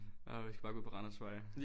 Åh vi skal bare gå ud på Randersvej